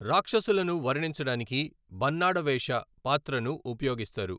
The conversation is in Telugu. రాక్షసులను వర్ణించడానికి 'బన్నాడ వేష' పాత్రను ఉపయోగిస్తారు.